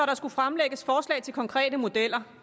der skulle fremlægges forslag til konkrete modeller